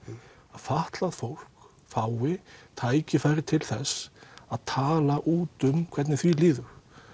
að fatlað fólk fái tækifæri til þess að tala út um hvernig því líður